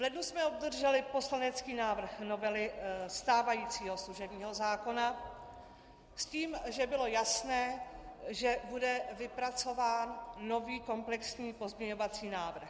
V lednu jsme obdrželi poslanecký návrh novely stávajícího služebního zákona, s tím, že bylo jasné, že bude vypracován nový komplexní pozměňovací návrh.